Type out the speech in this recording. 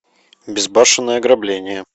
безбашенное ограбление